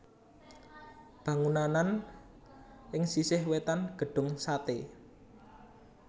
Bangunanan ing sisih wètan Gedung Sate